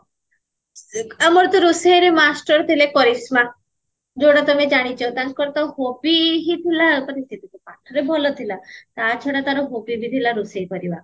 ଆମର ଯୋଊ ରୋଷେଇଆରେ master ଥିଲେ କରିସ୍ମା ଯୋଉଟା ତମେ ଜାଣିଚ ତାଙ୍କର ତ hobby ହିଁ ଥିଲା ଭଲ ଥିଲା ତା ଛଡା ତାର hobby ବି ଥିଲା ରୋଷେଇ କରିବା